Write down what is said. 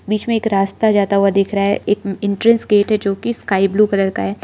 बीच मे एक रास्ता जाता हुआ दिख रहा है एक एंट्रेंस गेट है जो की स्काई ब्लू कलर का है।